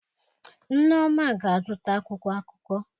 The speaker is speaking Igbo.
Nneoma ga-azụta akwụkwọ akụkọ.